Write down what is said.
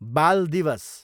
बाल दिवस